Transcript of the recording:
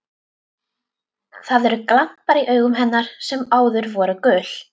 Það eru glampar í augum hennar sem áður voru gul.